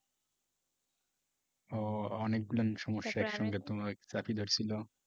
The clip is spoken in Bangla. ও অনেকগুলান সমস্যা একসঙ্গে তোমায় চাপি ধরছিল।